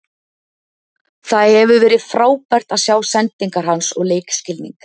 Það hefur verið frábært að sjá sendingar hans og leikskilning.